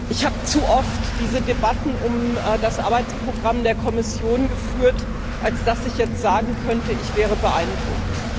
Ich habe zu oft diese Debatten um das Arbeitsprogramm der Kommission geführt, als dass ich jetzt sagen könnte, ich wäre beeindruckt.